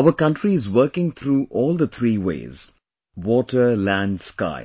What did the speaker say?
our country is working through all the three ways water, land, sky